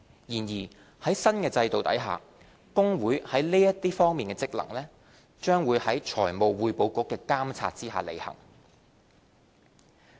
然而，在新制度下，公會在這些方面的職能，將在財務匯報局的監察下履行。